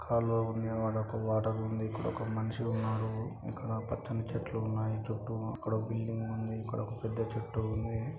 కాలువ ఉందిఅది ఒక వాటర్ లా ఉందిఇక్కడ ఒక మనిషి ఉన్నారుఇక్కడ పచ్చని చెట్లు సన్నాయి చుట్టూ ఇక్కడ ఒక బిల్డింగ్ ఉందిఇక్కడ ఒక పెద్ద చెట్టు ఉంది.